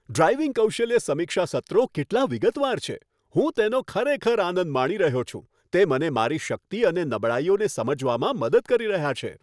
Driving કૌશલ્ય સમીક્ષા સત્રો કેટલા વિગતવાર છે! હું તેનો ખરેખર આનંદ માણી રહ્યો છું, તે મને મારી શક્તિ અને નબળાઈઓને સમજવામાં મદદ કરી રહ્યા છે.